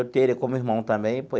Eu tenho ele como irmão também.